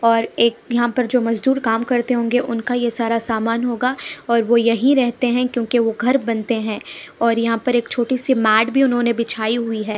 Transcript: और एक यहाँ पर जो मजदूर काम करते होंगे उनका ये सारा सामान होगा और वो यहीं रहते हैं क्योंकि वो घर बनते हैं और यहाँ पर एक छोटी सी मैट भी उन्होंने बिछाई हुई है।